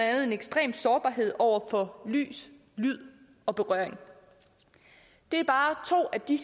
andet en ekstrem sårbarhed over for lys lyd og berøring det er bare to af de